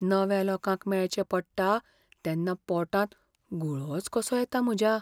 नव्या लोकांक मेळचें पडटा तेन्ना पोटांत गुळोच कसो येता म्हज्या.